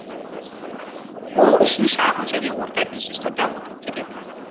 ол үшін шағын және орта бизнесті дамыту керек